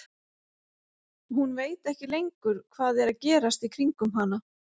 Hún veit ekki lengur hvað er að gerast í kringum hana.